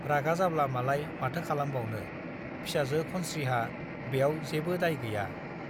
रागा जाब्ला मालाय माथो खालामबावनो , फिसाजो खनस्रीहा ब्याव जेबो दाय गैया ।